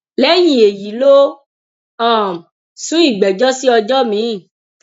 lẹyìn èyí ló um sún ìgbẹjọ sí ọjọ miín